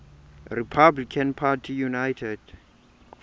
republican party united